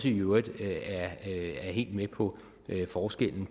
i øvrigt er helt med på forskellen